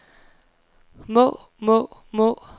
må må må